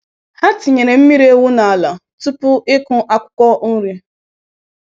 Ha tinyere mmiri ewu n’ala tupu ịkụ akwụkwọ nri.